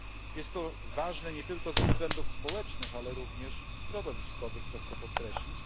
Jest to ważne nie tylko ze względów społecznych, ale również środowiskowych, co chcę podkreślić.